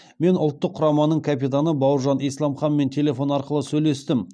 мен ұлттық құраманың капитаны бауыржан исламханмен телефон арқылы сөйлестім